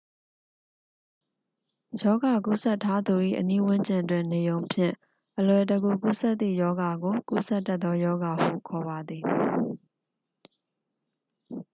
ရောဂါကူးစက်ထားသူ၏ အနီးဝန်းကျင်တွင် နေရုံဖြင့် အလွယ်တကူ ကူးစက်သည့် ရောဂါကို ကူးစက်တတ်သော ရောဂါဟု ခေါ်ပါသည်